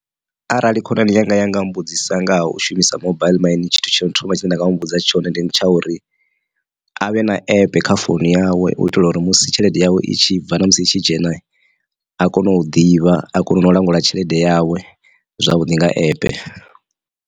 Arali khonani yanga yanga mbudzisa nga ha u shumisa mobile mani tshithu tsho thoma tshine nda nga muvhudza tshone ndi tsha uri avhe na app kha founu yawe u itela uri musi tshelede yawe i tshi bva na musi i tshi dzhena a kone u ḓivha a kone na u langula tshelede yawe zwavhuḓi nga app.